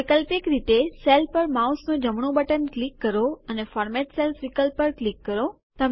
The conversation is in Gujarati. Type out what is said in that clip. વૈકલ્પિક રીતે સેલ પર માઉસનું જમણું બટન ક્લિક કરો અને ફોર્મેટ સેલ્સ પર ક્લિક કરો